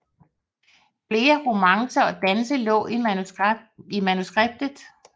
Flere romancer og danse lå i manuskript